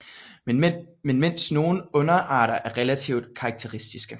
Men mens nogle underarter er relativt karakteristiske